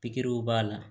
Pikiriw b'a la